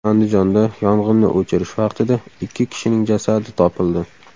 Andijonda yong‘inni o‘chirish vaqtida ikki kishining jasadi topildi.